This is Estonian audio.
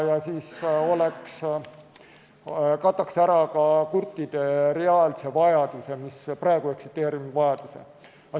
See kataks ära kurtide praegu eksisteeriva vajaduse.